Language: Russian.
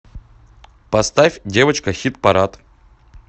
поставь девочка хит парад